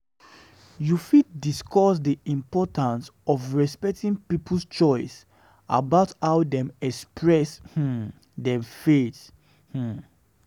You fit um discuss di importance of respecting people's choices about how dem express um dem faith. um